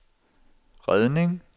redning